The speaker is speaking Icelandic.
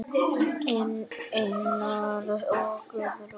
Einar og Guðrún.